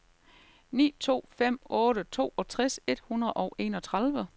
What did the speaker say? ni to fem otte toogtres et hundrede og enogtredive